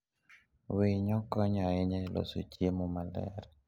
Winyo konyo ahinya e loso chiemo maler.